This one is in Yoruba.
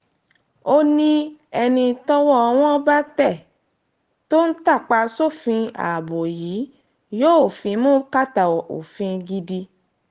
ó ní ẹni tọ́wọ́ tọ́wọ́ wọn bá tẹ̀ tó ń tàpá sófin ààbò yìí yóò fimú kàtà òfin gidi